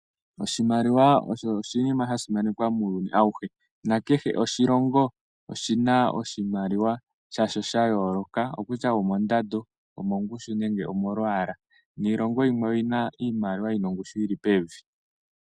Oshimaliwa osho oshinima sha simanekwa muuyuni awuhe. Kehe oshilongo oshi na oshimaliwa sha sho sha yooloka, okutya omondando, omongushu nenge omolwaala, niilongo yimwe oyina iimaliwa yi na ongushu yi li pevi.